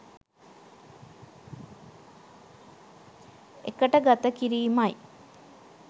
එකට ගත කිරීම යි.